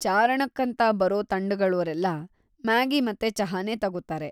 ಚಾರಣಕ್ಕಂತ ಬರೋ ತಂಡಗಳೋರೆಲ್ಲ ಮ್ಯಾಗಿ ಮತ್ತೆ ಚಹಾನೇ ತಗೋತಾರೆ.